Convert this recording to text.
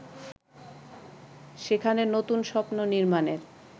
সেখানে নতুন স্বপ্ন নির্মাণের